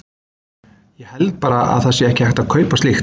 Ég held bara að það sé ekki hægt að kaupa slíkt.